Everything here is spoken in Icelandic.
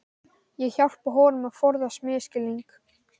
Ég hjálpa honum að forðast misskilning.